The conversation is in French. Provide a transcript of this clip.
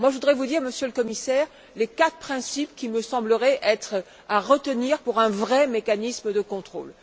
Moi, je voudrais vous indiquer, Monsieur le Commissaire, les quatre principes qui me sembleraient être à retenir pour un vrai mécanisme de contrôle.